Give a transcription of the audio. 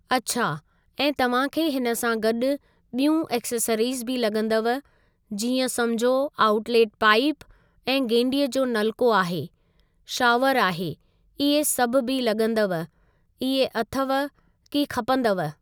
अच्छा ऐं तव्हांखे हिन सां गॾु बियूं एसेसरीज़ बि लगं॒दव जीअं समुझो ऑउट्लेट पाइप ऐं गेंडीअ जो नलको आहे शॉवर आहे इहे सभु बि लगं॒दव इहे अथव कि खपंदव।